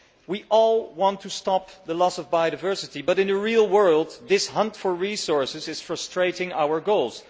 We all want to stop the loss of biodiversity, but in the real world, this hunt for resources is frustrating our goals.